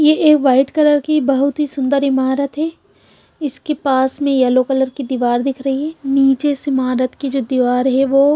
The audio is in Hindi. ये एक व्हाईट कलर की बहुत ही सुन्दर ईमारत है इसके पास में यलो कलर की दीवार दिख रही है नीचे इस ईमारत के जो दीवार है वो--